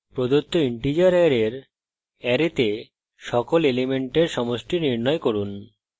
প্রদত্ত integers অ্যারের অ্যারেতে সকল elements সমষ্টি নির্ণয় করুন